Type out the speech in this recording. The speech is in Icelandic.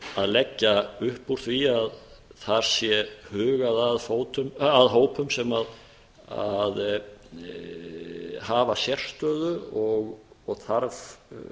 að leggja upp úr því að þar sé hugað að hópum sem hafa sérstöðu og þarf